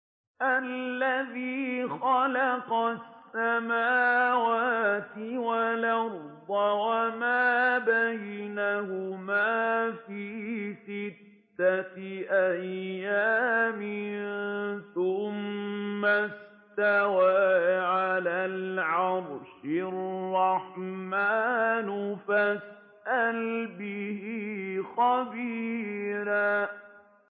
الَّذِي خَلَقَ السَّمَاوَاتِ وَالْأَرْضَ وَمَا بَيْنَهُمَا فِي سِتَّةِ أَيَّامٍ ثُمَّ اسْتَوَىٰ عَلَى الْعَرْشِ ۚ الرَّحْمَٰنُ فَاسْأَلْ بِهِ خَبِيرًا